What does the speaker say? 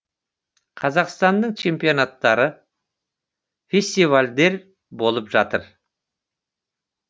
қазақстанның чемпионттары фестивальдер болып жатыр